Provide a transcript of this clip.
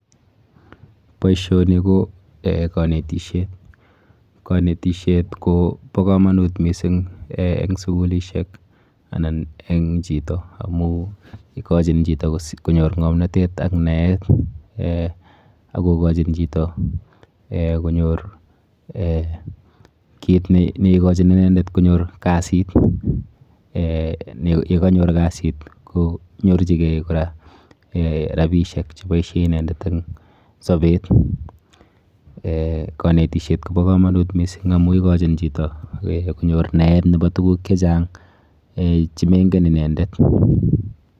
Boisioni ko eh konetishet. Konetishet kobo komonut mising eng sukulishek anan eng chito amu ikochin chito konyor ng'omnatet ak naet eh ak kokochin chito konyor eh kit neikochin inendet konyor kasit. Eh yekanyor kasit konyorchike kora rapishek cheboishe inendet eng sobet. Eh konetishet kobo komonut mising amu ikochin chito konyor naet nebo tuguk chechang eh chemenken inendet.